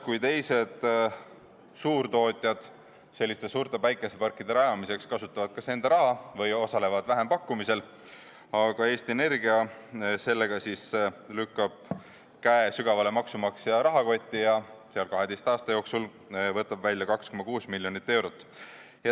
Kui teised suurtootjad kasutavad suurte päikeseparkide rajamiseks kas enda raha või osalevad vähempakkumisel, siis Eesti Energia lükkab käe sügavale maksumaksja rahakotti ja võtab sealt 12 aasta jooksul välja 2,6 miljonit eurot.